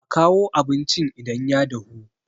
a kawo abincin idan ya dahu!